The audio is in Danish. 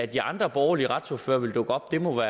de andre borgerlige retsordførere vil dukke op må